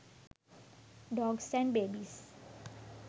dogs and babies